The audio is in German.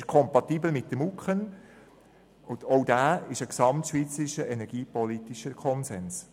Es ist mit den MuKEn kompatibel, und auch diese sind ein gesamtschweizerischer energiepolitischer Konsens.